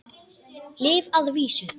Lyf að vísu.